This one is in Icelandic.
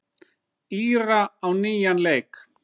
Íra á nýjan leik.